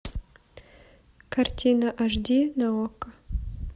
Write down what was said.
картина аш ди на окко